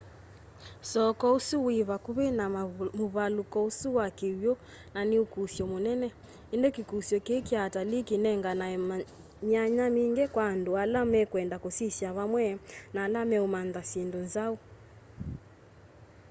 soko usu wi vakuvi na muvaluko usu wa kiw'u na ni ukusyo munene indi kikusyo kii kya atalii kinenganae myanya mingi kwa andu ala mekwenda kusisya vamwe na ala meumantha syindu nzau